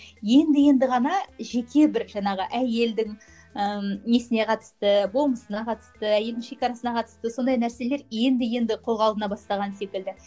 енді енді ғана жеке бір жанағы әйелдің ііі несіне қатысты болмысына қатысты әйелдің шекарасына қатысты сондай нәрселер енді енді қолға алына бастаған секілді